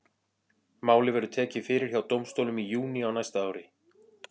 Málið verður tekið fyrir hjá dómstólum í júní á næsta ári.